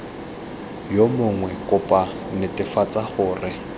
yo mongwe kopo netefatsa gore